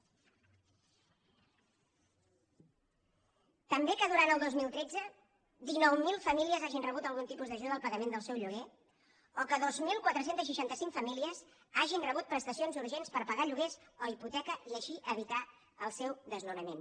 també que durant el dos mil tretze dinou mil famílies hagin rebut algun tipus d’ajut al pagament del seu lloguer o que dos mil quatre cents i seixanta cinc famílies hagin rebut prestacions urgents per pagar lloguers o hipoteca i així evitar el seu desnonament